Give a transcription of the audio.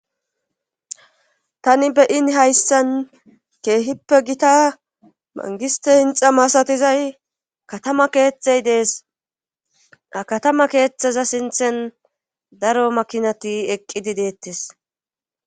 Tani beyin hayssan keehippe gita mangiste hinxa masatizay katama keetthey dees a katama keeththeza sinthen daro makinati eqqidi deettes.